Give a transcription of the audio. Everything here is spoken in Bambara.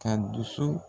Ka dusu